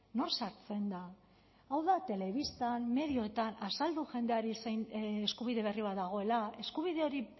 nor sartzen da hau da telebistan medioetan azaldu jendeari zein eskubide berri bat dagoela eskubide hori